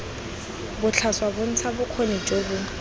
botlhaswa bontsha bokgoni jo bo